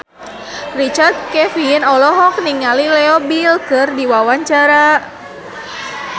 Richard Kevin olohok ningali Leo Bill keur diwawancara